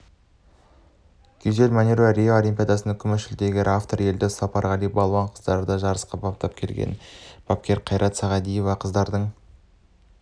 гюзель манюрова рио олимпиадасының күміс жүлдегері авторы елдос сапарғали балуан қыздарды жарысқа баптап келген бапкерқайрат сағадиевқыздардың